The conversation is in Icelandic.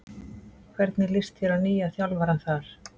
Hvernig lýst þér á nýja þjálfarann þar?